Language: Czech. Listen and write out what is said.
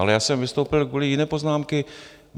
Ale já jsem vystoupil kvůli jiné poznámce.